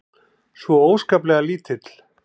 Svo óskaplega lítill.